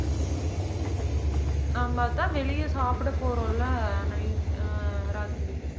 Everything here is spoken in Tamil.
ஆமா, அதான் வெளியே சாப்பிட போறோம்ல night உ ராத்திரி